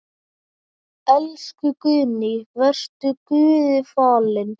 Elsku Guðný, vertu Guði falin.